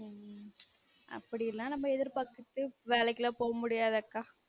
உம் அப்டிலான் நாம்ம எதிர்பார்த்துட்டு வேலைக்கு எல்லா போக முடியாதுக்கா